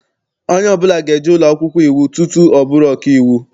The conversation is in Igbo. Onye ọbụla ga-eje ụlọakwụkwọ iwu tutu ọ bụrụ ọkaiwu.